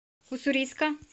уссурийска